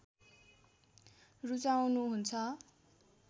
रुचाउनु हुन्छ